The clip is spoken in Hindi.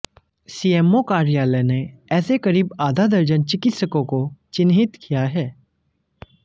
सीएमओ कार्यालय ने ऐसे करीब आधा दर्जन चिकित्सकों को चिंहित किया है